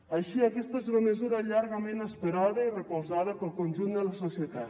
així aquesta és una mesura llargament esperada i recolzada pel conjunt de la societat